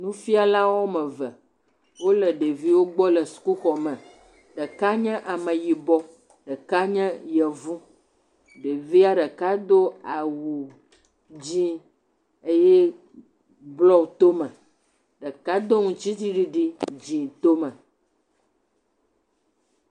Nufialawo ame eve, wole ɖeviwo gbɔ le sukuxɔ me. Ɖeka nye ameyibɔ, ɖeka nye yevu. Ɖevia ɖeka do awu dzɛ̃ eye blɔ to me. Ɖeka do ŋu ŋutitsiɖiɖi dzɛ̃ to me.